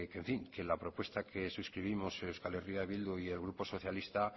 que en fin que la propuesta que suscribimos euskal herria bildu y el grupo socialista